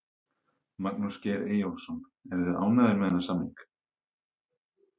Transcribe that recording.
Magnús Geir Eyjólfsson: Eruð þið ánægðir með þennan samning?